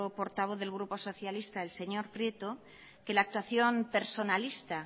portavoz del grupo socialista el señor prieto que la actuación personalista